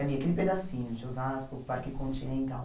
Ali aquele pedacinho de Osasco, Parque Continental.